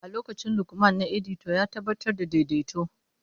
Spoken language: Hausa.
A lokacin Lukman na edita, ya tabbatar da daidaito.